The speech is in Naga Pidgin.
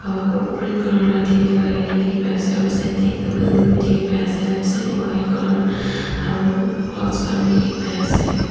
aro green colour lathi bi lakaine dikhipaiase aro side tae building bi dikhipaiase left side tae White colour aro clouds khan bi dikhipaiase.